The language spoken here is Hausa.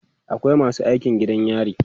akwai masu aikin gidan yari